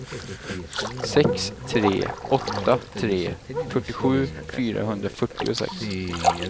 sex tre åtta tre fyrtiosju fyrahundrafyrtiosex